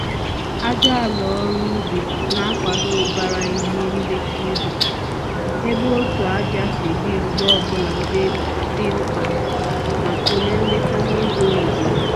Ájá àlà ọrụ ubi na akwado ubara ihe nleta ubi, ébé otú ájá si dị mgbe ọbụla dị mkpa maka ule nleta n'ụzọ oyibo